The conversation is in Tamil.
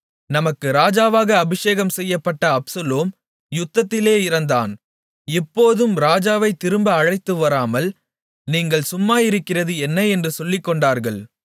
நமக்கு ராஜாவாக அபிஷேகம்செய்யப்பட்ட அப்சலோம் யுத்தத்திலே இறந்தான் இப்போதும் ராஜாவைத் திரும்ப அழைத்துவராமல் நீங்கள் சும்மாயிருக்கிறது என்ன என்று சொல்லிக்கொண்டார்கள்